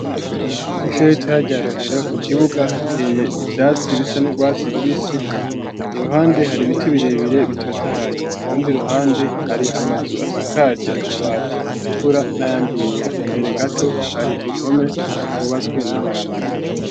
Kw'ishure ritoya rya Rohero, ku kibuga, hateye ivyatsi bisa n'urwatsi rubisi, iruhande, hari ibiti birebire, bitotahaye; ku rundi ruhande, hari amazu asakaje amabati atukura, n'ayandi yera; imbere gato, hari uruhome, rwubatswe n'amabuye.